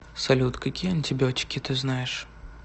салют какие антибиотики ты знаешь